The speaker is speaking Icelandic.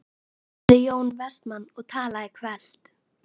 spurði Jón Vestmann og talaði hvellt.